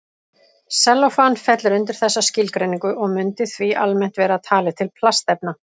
Sellófan fellur undir þessa skilgreiningu og mundi því almennt vera talið til plastefna.